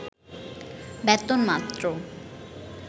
বেতন মাত্র